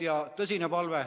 Selline tõsine palve.